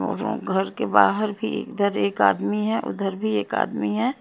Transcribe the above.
और घर के बाहर भी इधर एक आदमी है उधर भी एक आदमी है।